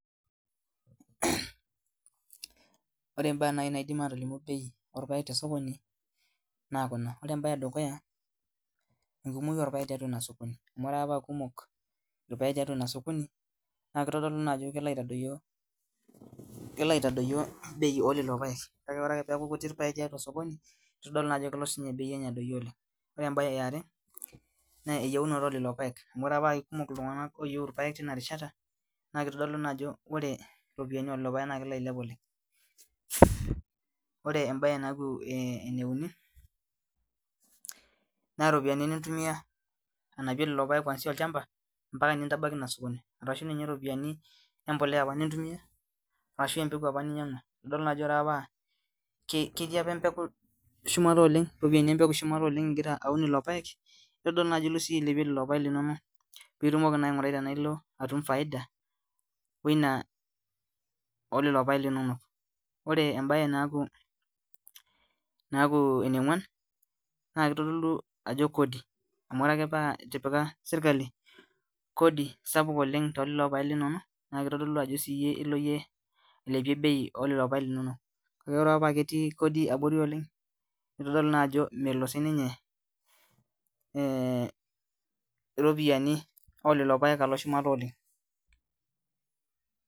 Ore ibaa naji naidim atolumu bei orpayek tosokoni naa kuna, ore embae edukuya mekumok irpayek tiatua ilosokoni, amu ore ake paa kumok irpayek tiatua inasokoni naa keitodolu naa ajo kelo aitadoyio bei oo lelo payek oree akee peyaku irpayek kutik tiatua inasokoni, keitodolu naa ajo kelo sinye bei enye adoyuo oleng' ,ore embaye iare naa eyeunoto oo lelo payek amu ore akee paa kumok iltung'anak ooyieu irpayek teina rishata naa keitodolu naa ajo oree iropiyani oo irpayej naa kelo ailep oleng',ore embaye naaku ene uni naa iropiyani nintumia anapiyie lelo payek kwansia olchampa mpaka nintambaiki naa osokoni, arashuu ninye iropiyani empoleya apa nintumia aashu empeku apa ninyang'ua idolta ketii apa iropiyani empeku shumata oleng' ingira aun lelo paek, itodolo naa ajo ingira sinye iye ailepie lelo paek linono ping'uraa naa tenaa ilo atum faida oo ina oo lelo paek linono, ore embaye naaku ene ong'uan naa keitodolu ajo kodi amu inaatipika serkali kodi sapuk oleng' telolo payek linono naa keitodolu ajo ilo siyee ailepia bei oo lelo payek linono, kake ore paa ketii kodi aborri oleng' neitodolu naa ajo melo sininye irropiyiani oo lelo payek alo shumata oleng'.